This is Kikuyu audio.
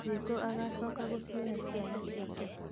Jesũ agacoka gũcioya ciana ciake